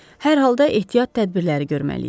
Hər halda ehtiyat tədbirləri görməliyik.